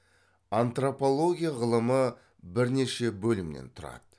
антропология ғылымы бірнеше бөлімнен тұрады